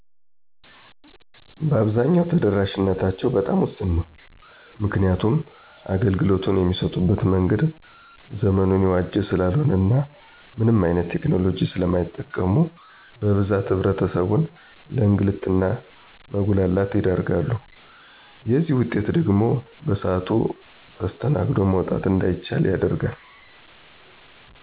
በአብዛኝው ተደራሺነታቸው በጣም ውስን ነው። ምክንያቱም አገልግሎቱን የሚሰጡበት መንገድ ዘመኑን የዋጀ ሰላልሆነ እና ምንም አይነት ቴክኖሎጂ ሰለማይጠቀሙ በብዛት ህብረተሰብን ለእንግልት እና መጉላላት ይዳርጋሉ። የዝህ ውጤት ደግሞ በስአቱ ተስተናግዶ መውጣት እንዳይችል ያደርጋል።